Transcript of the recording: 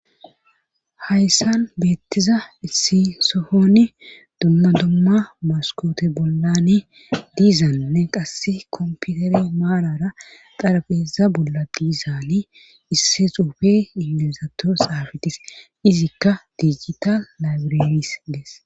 Hayssan beettiza issi sohoni dumma dumma maskoote bollani diizanne qasse komputere maarara xarabeeza bolla diizaali isse xuufe imilizato xaafetis izikka diijita laybirenis dees.